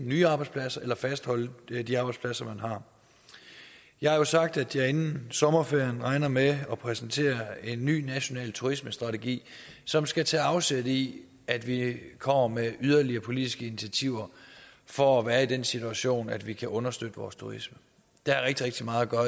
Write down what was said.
nye arbejdspladser eller fastholde de arbejdspladser man har jeg har jo sagt at jeg inden sommerferien regner med at præsentere en ny national turismestrategi som skal tage afsæt i at vi kommer med yderligere politiske initiativer for at være i den situation at vi kan understøtte vores turisme der er rigtig rigtig meget at